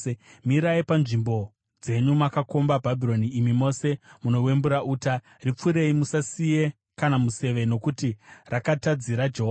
“Mirai panzvimbo dzenyu makakomba Bhabhironi, imi mose munowembura uta. Ripfurei! Musasiye kana museve nokuti rakatadzira Jehovha.